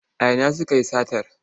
A ina sukayi satar?